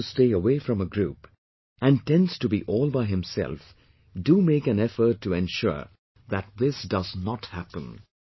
If he prefers to stay away from a group, and tends to be all by himself, do make an effort to ensure that this does not happen